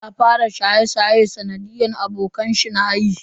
Saleh ya fara shaye-shaye sanadiyan abokanshi nayi.